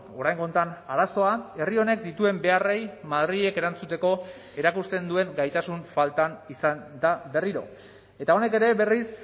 oraingo honetan arazoa herri honek dituen beharrei madrilek erantzuteko erakusten duen gaitasun faltan izan da berriro eta honek ere berriz